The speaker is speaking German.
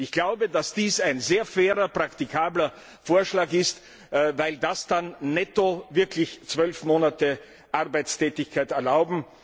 Ich glaube, dass dies ein sehr fairer, praktikabler Vorschlag ist, weil das dann netto wirklich zwölf Monate Arbeitstätigkeit erlaubt.